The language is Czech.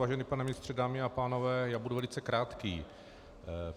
Vážený pane ministře, dámy a pánové, já budu velice krátký.